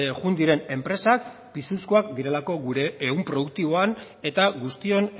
joan diren enpresak pisuzkoak direlako gure ehun produktiboan eta guztion